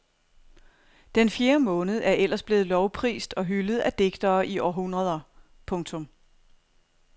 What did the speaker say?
Den fjerde måned er ellers blevet lovprist og hyldet af digtere i århundreder. punktum